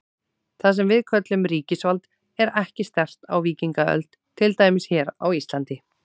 Það sem við köllum ríkisvald var ekki sterkt á víkingaöld, til dæmis hér á Íslandi.